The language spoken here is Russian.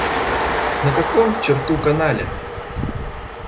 на каком к черту канале